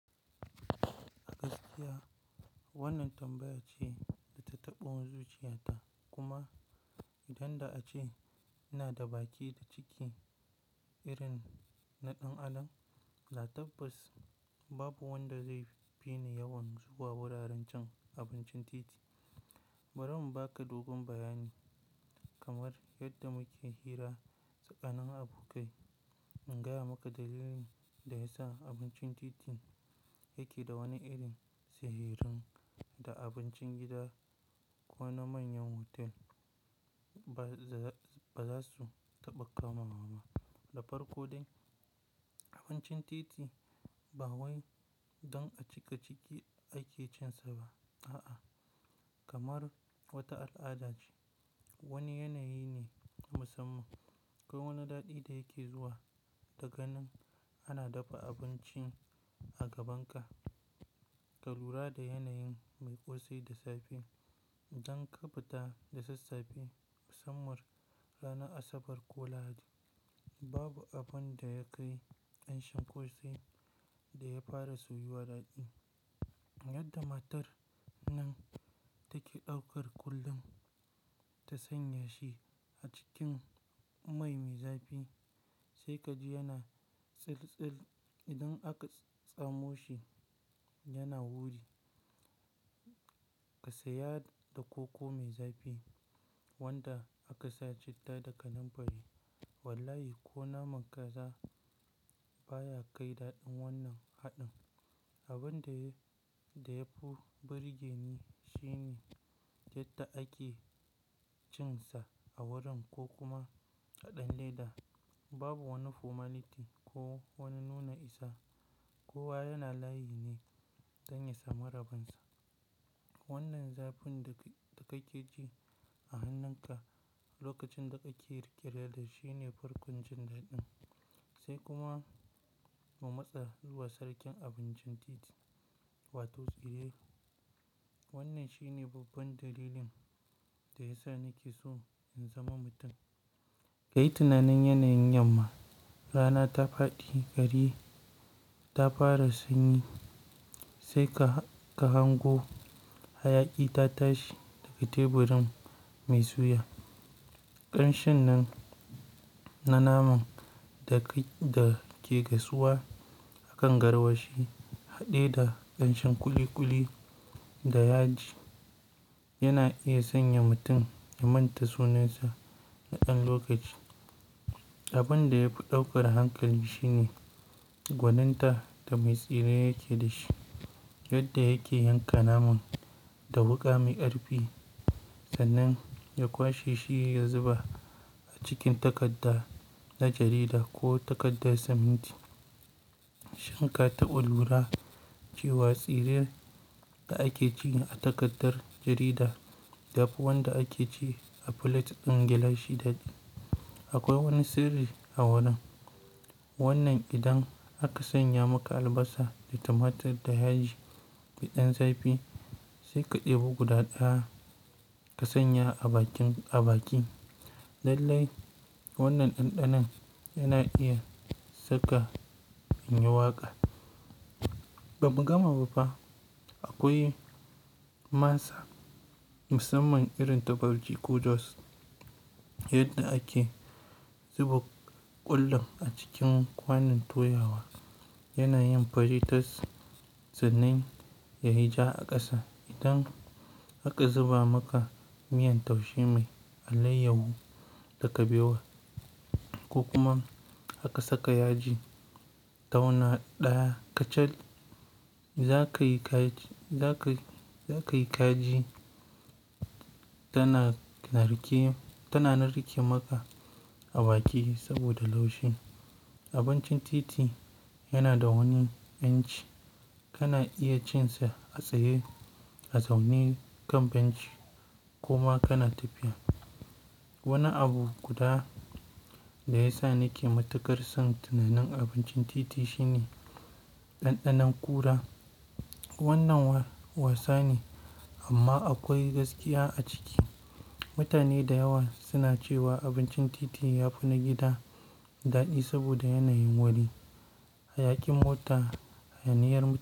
A gaskiya wannan tambaya ce da ta taɓo zuciyata kuma idan da a ce ina da baki da ciki irin na ɗan adam, da tabbas babu wanda zai fi ni yawan zuwa wuraren cin abincin titi. Bari in baka dogon bayani kamar yadda muke hira tsakanin abokai. In gaya maka dalilin da ya sa abincin titin yake da wani irin sihirin da abincin gida ko na manyan hotel ba za su taɓa kama. Ma da farko dai abincin titi ba wai don a cika ciki ake cin sa ba. A'a kamar wata al'ada ce. Wani yanayi ne na musamman akwai wani daɗi da yake zuwa da ganin ana dafa abinci a gabanka, ka lura da yanayin mai ƙosai da zafi don ka fita da sassafe. Musamman ranar Asabar ko Lahadi babu abin da ya kai ƙanshin ƙosai da ya fara soyuwa daɗi. Yadda matar nan take ɗaukar kullum ta sanya shi a cikin mai mai zafi sai ka ji yana tsiltsil. Idan aka tsamo shi yana wuri, ka saya da koko mai zafi wanda aka sa citta da kananfari. Wallahi ko naman kaza baya kai daɗin wannan haɗin. Abin da ya fi birgeni shine yadda ake cin sa a wurin ko kuma haɗin leda babu wani formality ko wani nuna isa. Kowa yana layi ne don ya samu rabonsa. Wannan zafin da kake ji a hannunka lokacin da kake rike da shi ne farkon jin daɗin sai kuma ka matsa zuwa sarkin abincin titi wato tsire. Wannan shi ne babban dalilin da ya sa nake so in zama mutum. Kayi tunanin yanayin yamma rana ta faɗi gari ta fara sanyi sai ka hango hayaƙi ta tashi daga teburin mai suya. Ƙanshin nan na naman da ke gasuwa a kan garwashi haɗe da ƙanshin kuli-kuli da yaji yana iya sanya mutum ya manta sunansa na ɗan lokaci. Abin da ya fi ɗaukar hankali shi ne gwaninta da mai tsire yake da shi yadda yake yanka naman da wuƙa mai karpi sannan ya kwashe shi ya zuba a cikin takarda na jarida ko takardar siminti. Shin ka taɓa lura cewa tsire da ake ci a takardar jarida daban wanda ake ci a filet ɗin gilashi daɗi. Akwai wani sirri a wurin wannan. Idan aka sanya maka albasa da tumatir da yaji da ɗan zafi sai ka ɗebo guda ɗaya ka sanya a baki. Lallai wannan ɗanɗanon yana iya saka in yi waƙa. Ɓamu gama ba fa akwai masa musamman irin ta farji ko jos yadda ake zuba ƙullun a cikin kwanon toyawa yana yin fari tas tsanan yayi ja a ƙasa. Idan aka zuba maka miyan taushe mai alayyahu da kaɓewa ko kuma aka saka yaji tauna ɗaya kachal za yi kaji tana narke maka a baki saboda laushi. Abincin titi yana da wani yanci. Kana iya cin sa a tsaye a zaune kan benci koma kana tafiya. Wani abu guda da ya sa nake matukar son tunanin abincin titi shi ne ɗanɗanon ƙura. Wannan wasa ne amma akwai gaskiya a ciki. Mutane da yawa suna cewa abincin titi ya fi na gida daɗi saboda yanayin wuri, hayaƙin mota, hayaniyar.